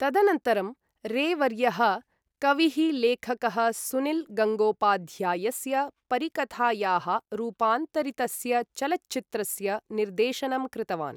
तदनन्तरं, रे वर्यः कविः लेखकः सुनील् गङ्गोपाध्यायस्य परिकथायाः रूपान्तरितस्य चलच्चित्रस्य निर्देशनं कृतवान्।